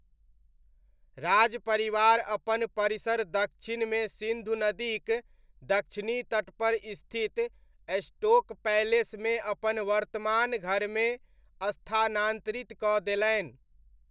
राजपरिवार अपन परिसर दक्षिणमे सिन्धु नदीक दक्षिणी तटपर स्थित स्टोक पैलेसमे अपन वर्तमान घरमे स्थानान्तरित कऽ देलनि।